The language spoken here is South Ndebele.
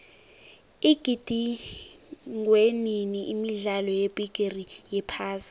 igidingwenini imidlalo yebigiri yephasi